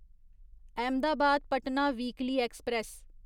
Ahmedabad Patna weekly express